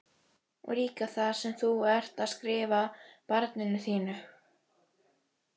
Og líka það sem þú ert að skrifa barninu þínu?